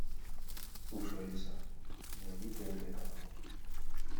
слушай алиса найди тнт канал